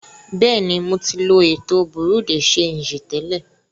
Bẹ́ẹ̀ni, ḿó ti lọ ètò Bureau de sangí tẹ́lẹ̀.